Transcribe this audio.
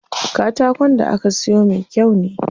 Katakon da aka siyo me kyau ne.